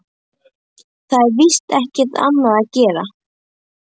Það er víst ekki annað að gera.